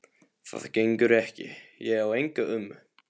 Það gengur ekki, ég á enga ömmu